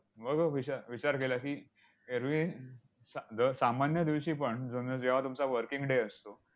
मग विच विचार केला की, एरवी सा दर सामान्य दिवशीपण जणू जेव्हा तुमचा working day असतो,